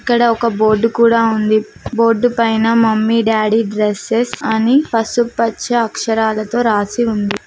ఇక్కడ ఒక బోర్డు కూడా ఉంది బోర్డు పైన మమ్మీ డాడీ డ్రెస్సెస్ అని పసుపచ్చ అక్షరాలతో రాసి ఉంది.